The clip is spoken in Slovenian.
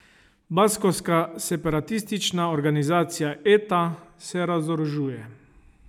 Baskovska separatistična organizacija Eta se razorožuje.